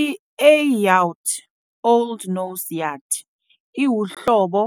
I-A Yout, Old Norse Yūt, iwuhlobo